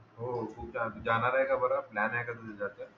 हो खूप खूप जाणार आहै का बर प्लॅन हाय का तुझं तस